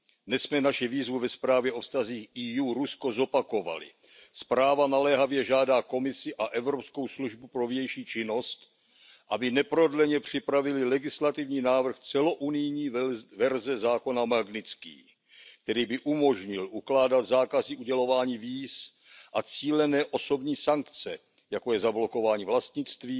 Dnes jsme naši výzvu ve zprávě o vztazích Evropské unie a Ruska zopakovali, zpráva naléhavě žádá Komisi a Evropskou službu pro vnější činnost, aby neprodleně připravily legislativní návrh celounijní verze Magnitského zákon, který by umožnil ukládat zákazy udělování víz a cílené osobní sankce, jako je zablokování vlastnictví